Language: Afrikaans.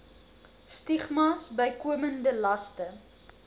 stigmas bykomende laste